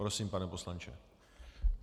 Prosím, pane poslanče.